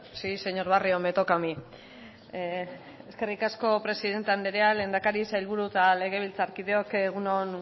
sí señor barrio me toca a mí eskerrik asko presidente anderea lehendakari sailburu eta legebiltzarkideok egun on